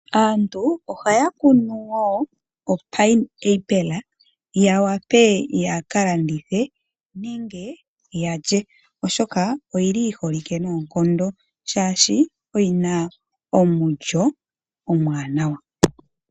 Aantu ohaya kunu wo opineapple, ya wape yaka landithe nenge yalye. Oshoka oyili yi holike noonkondo shaashi oyina omulyo omuwanawa.